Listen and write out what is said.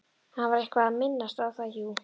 Hann var eitthvað að minnast á það, jú.